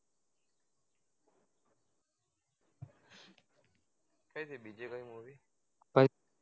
કઈ છે બીજી કોઈ movie કઈ